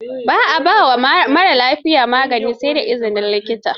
Ba a ba wa marar lafiya magani sai da izinin likita.